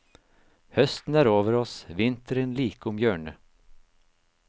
Høsten er over oss, vinteren like om hjørnet.